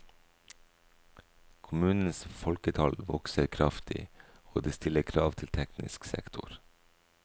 Kommunens folketall vokser kraftig og det stiller krav til teknisk sektor.